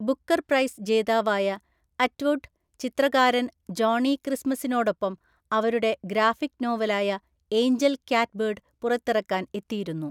Booker prize ജേതാവായ Atwood, ചിത്രകാരൻ Johnny ക്രിസ്‌മസിനോടൊപ്പം അവരുടെ ഗ്രാഫിക് നോവലായ ഏഞ്ചൽ ക്യാറ്റ്‌ബേർഡ് പുറത്തിറക്കാൻ എത്തിയിരുന്നു.